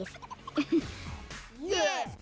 ég